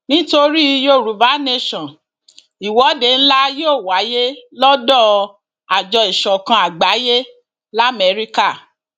nítorí yorùbá nation ìwọde ńlá yóò wáyé lọdọ àjọ ìsọkan àgbáyé lamẹríkà